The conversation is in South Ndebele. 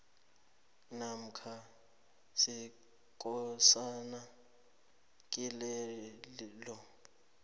namkha sekosana kilelo